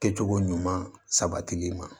Kɛcogo ɲuman sabatili ma